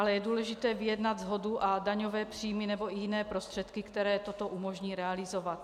Ale je důležité vyjednat shodu a daňové příjmy nebo i jiné prostředky, které toto umožní realizovat.